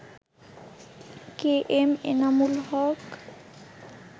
KM Enamul Haque